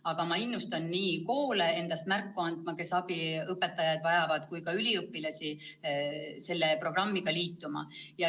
Aga ma innustan koole märku andma, et nad abiõpetajaid vajavad, ja ka üliõpilasi selle programmiga liituma.